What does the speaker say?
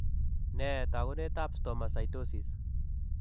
Nee taakunetaab Stomatocytosis?